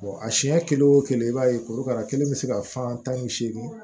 a siɲɛ kelen o kelen i b'a ye korokara kelen bɛ se ka fan tan ni segin